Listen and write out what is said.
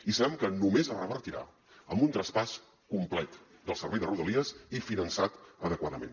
i sabem que només es revertirà amb un traspàs complet del servei de rodalies i finançat adequadament